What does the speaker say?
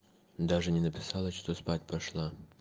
даже не написала что спать пошла